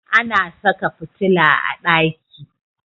Ana saka fitila a ɗaki.